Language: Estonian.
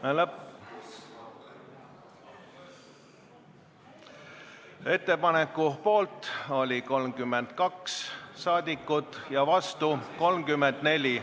Hääletustulemused Ettepaneku poolt oli 32 saadikut ja vastu 34.